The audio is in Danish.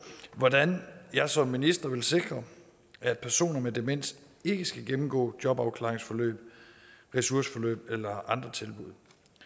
hvordan jeg som minister vil sikre at personer med demens ikke skal gennemgå jobafklaringsforløb ressourceforløb eller andre tilbud